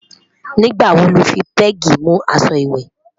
nígbà wò ló fí pegi mú aṣọ ìwé?